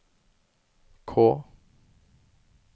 K